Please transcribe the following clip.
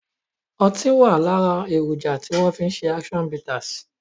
Ọtí wá lára èròjà tí wọn fi ṣe action bitters